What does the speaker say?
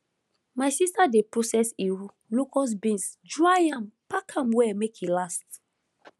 my sister dey process iru locust beans dry am pack am well make e last